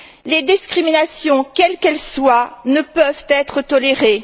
Les discriminations quelles qu'elles soient ne peuvent être tolérées.